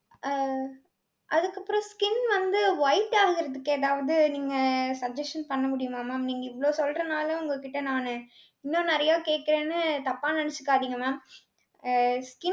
அஹ் அதுக்கப்புறம் skin வந்து white ஆகறதுக்கு ஏதாவது நீங்க suggestion பண்ண முடியுமா mam? நீங்க இவ்ளோ சொல்றனால உங்க கிட்ட நானு இன்னும் நிறைய கேக்கறேன்னு தப்பா நினைச்சுக்காதீங்க mam